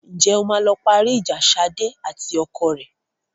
Ǹjẹ́ o máa lọ parí ìjà Ṣadé àti ọkọ rẹ?